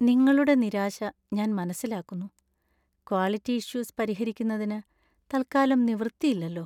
നിങ്ങളുടെ നിരാശ ഞാൻ മനസ്സിലാക്കുന്നു, ക്വാളിറ്റി ഇഷ്യൂസ് പരിഹരിക്കുന്നതിന് തത്കാലം നിവൃത്തിയില്ലല്ലോ.